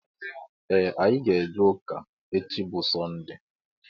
Ee anyị ga -eje ụka echi bụ sonde.